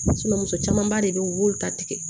muso camanba de bɛ ye u y'u ta tigɛ